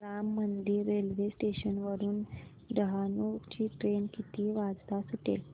Ram Mandir railway station वरुन डहाणू ची train किती वाजता सुटेल